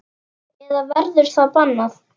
Eða verður það bannað?